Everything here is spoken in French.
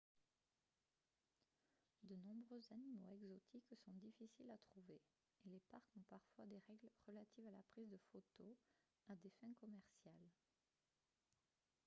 de nombreux animaux exotiques sont difficiles à trouver et les parcs ont parfois des règles relatives à la prise de photos à des fins commerciales